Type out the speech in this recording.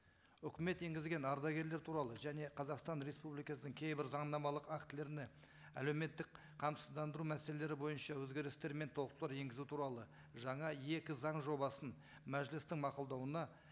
үкімет енгізген ардагерлер туралы және қазақстан республикасының кейбір заңнамалық актілеріне әлеуметтік қамсыздандыру мәселелері бойынша өзгерістер мен толықтырулар енгізу туралы жаңа екі заң жобасын мәжілістің мақұлдауына